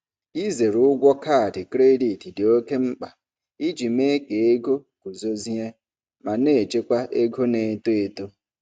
Ịzere ụgwọ kaadị kredit dị oké mkpa iji mee ka ego guzozie ma na-echekwa ego na-eto eto.